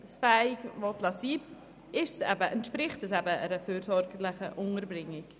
Hier handelt es sich um eine fürsorgerische Unterbringung.